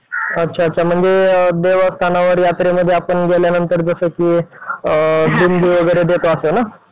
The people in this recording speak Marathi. अच्छा अच्छा म्हणजे देवस्थानावर यात्रेमध्ये आपण गेल्यानंतर जसं की अ लिंबू वगैरे देतो असं ना?